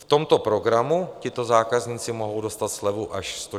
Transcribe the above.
V tomto programu tito zákazníci mohou dostat slevu až 140 liber.